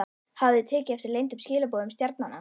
Hafið þið tekið eftir leyndum skilaboðum stjarnanna?